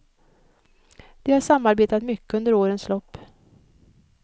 De har samarbetat mycket under årens lopp.